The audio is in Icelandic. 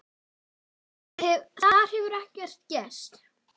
Þar hefur ekkert gerst.